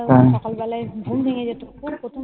হম তখন সকাল বেলায় ঘুম ভেঙে যেত